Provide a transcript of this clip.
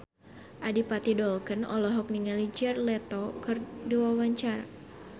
Adipati Dolken olohok ningali Jared Leto keur diwawancara